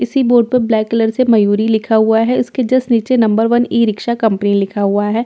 इसी बोर्ड पर black colour से मयूरी लिखा हुआ है इसके जस्ट नीचे number one e rickshaw company लिखा हुआ है इसी बोर्ड प--